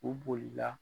U bolila